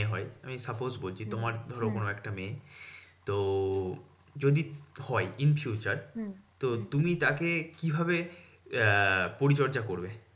হয় আমি suppose বলছি তোমার ধরো কোনো একটা মেয়ে। তো যদি হয় in future তো তুমি তাকে কিভাবে আহ পরিচর্যা করবে?